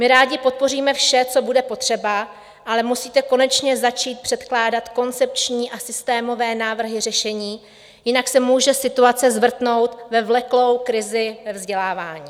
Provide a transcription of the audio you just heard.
My rádi podpoříme vše, co bude potřeba, ale musíte konečně začít předkládat koncepční a systémové návrhy řešení, jinak se může situace zvrtnout ve vleklou krizi ve vzdělávání.